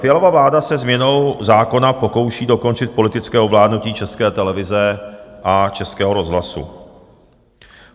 Fialova vláda se změnou zákona pokouší dokončit politické ovládnutí České televize a Českého rozhlasu.